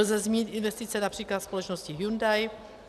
Lze zmínit investice například společnosti Hyundai.